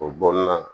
O bɔ na